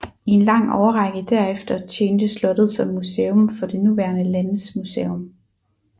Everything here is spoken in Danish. I en lang årrække derefter tjente slottet som museum for det nuværende Landesmuseum